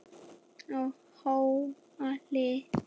á Háhóli.